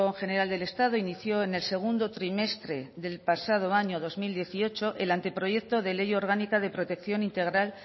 general del estado inició en el segundo trimestre del pasado año dos mil dieciocho el anteproyecto de ley orgánica de protección integral